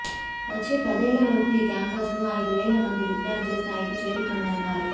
వచ్చే పదేళ్లలోపు ఈ క్యాంపస్లో ఐదు వేల మంది విద్యార్థుల స్థాయికి చేరుతుందన్నారు